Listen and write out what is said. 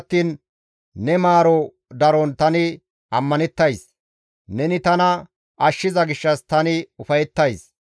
Gido attiin ne maaroteththa daron tani ammanettays; neni tana ashshiza gishshas tani ufayettays.